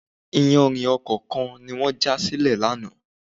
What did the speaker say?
Iyanrìn ọkọ̀ kan ni wọ́n já sílẹ̀ lánàá.